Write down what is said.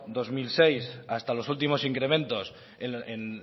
dos mil seis hasta los últimos incrementos en